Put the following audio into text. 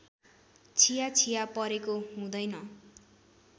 छियाछिया परेको हुँदैन